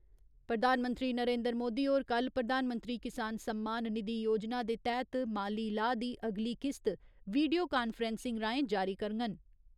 प्रधानमंत्री नरेन्द्र मोदी होर कल्ल प्रधानमंत्री किसान सम्मान निधि योजना दे तैह्‌त माली लाह् दी अगली किस्त वीडियो कांफ्रैसिंग राहें जारी करङन।